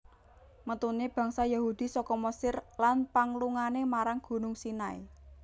Metune bangsa Yahudi saka Mesir lan panglungane marang Gunung Sinai